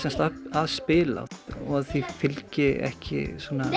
að spila og að því fylgi ekki